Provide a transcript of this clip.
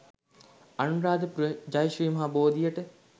අනුරාධපුර ජය ශ්‍රී මහා බෝධියට